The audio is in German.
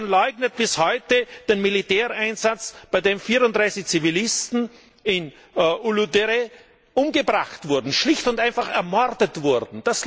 Man leugnet bis heute den Militäreinsatz, bei dem 34 Zivilisten in Uludere umgebracht wurden, schlicht und einfach ermordet wurden.